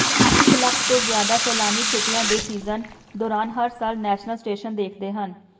ਇਕ ਲੱਖ ਤੋਂ ਜ਼ਿਆਦਾ ਸੈਲਾਨੀ ਛੁੱਟੀਆਂ ਦੇ ਸੀਜ਼ਨ ਦੌਰਾਨ ਹਰ ਸਾਲ ਨੈਸ਼ਨਲ ਸਟੇਸ਼ਨ ਦੇਖਦੇ ਹਨ